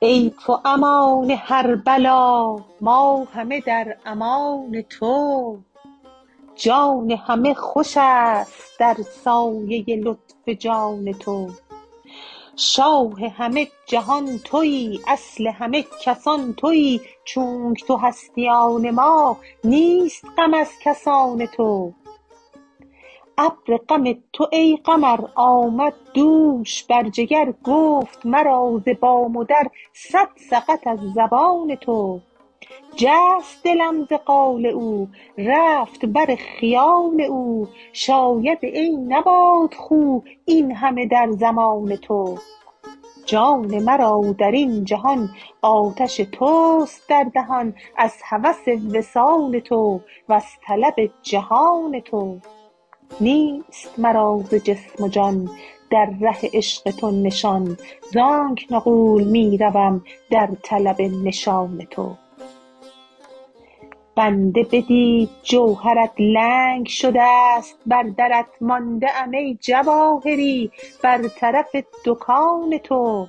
ای تو امان هر بلا ما همه در امان تو جان همه خوش است در سایه لطف جان تو شاه همه جهان تویی اصل همه کسان تویی چونک تو هستی آن ما نیست غم از کسان تو ابر غم تو ای قمر آمد دوش بر جگر گفت مرا ز بام و در صد سقط از زبان تو جست دلم ز قال او رفت بر خیال او شاید ای نبات خو این همه در زمان تو جان مرا در این جهان آتش توست در دهان از هوس وصال تو وز طلب جهان تو نیست مرا ز جسم و جان در ره عشق تو نشان زآنک نغول می روم در طلب نشان تو بنده بدید جوهرت لنگ شده ست بر درت مانده ام ای جواهری بر طرف دکان تو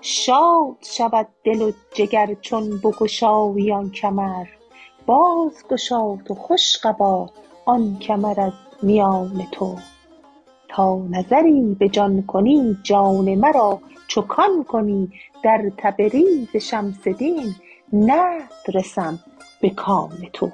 شاد شود دل و جگر چون بگشایی آن کمر بازگشا تو خوش قبا آن کمر از میان تو تا نظری به جان کنی جان مرا چو کان کنی در تبریز شمس دین نقد رسم به کان تو